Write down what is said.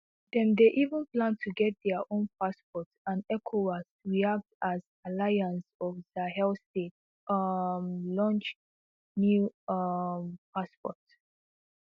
dem dey even plan to get dia own passport andecowas react as alliance of sahel states um launch new um passport